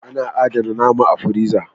A na adana nama a firiza